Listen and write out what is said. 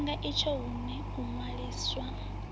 tshifhinga itsho hune u ṅwaliswa